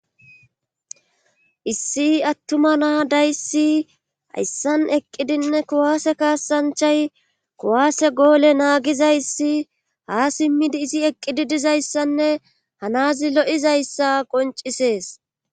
issi attuma naa dayssi hayssan eqqidinne kuwaase kaasanchay kuwaase goole naagizayssi ha simmidi izi eqqidi dizayssanne hanazi lo7izayssa qoncisees